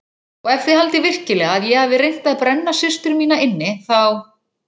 Og ef þið haldið virkilega að ég hafi reynt að brenna systur mína inni þá.